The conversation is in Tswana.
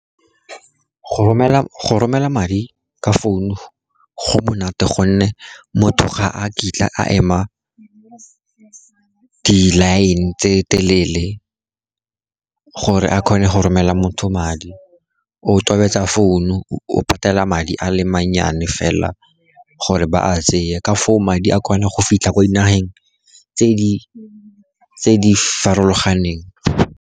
Go romela madi ka founu go monate, gonne motho ga a kitla a ema di-line tse telele gore a kgone go romela motho madi. O tobetsa founu, o patela madi a le mannyane fela gore ba a tsee, ka foo madi a kgona go fitlha kwa dinageng tse di farologaneng.